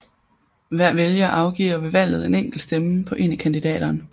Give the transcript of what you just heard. Hver vælger afgiver ved valget en enkelt stemme på en af kandidaterne